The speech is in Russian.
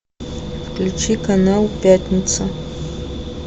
включи канал пятница